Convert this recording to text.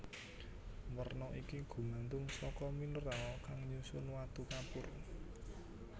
Werna iki gumantung saka mineral kang nyusun watu kapur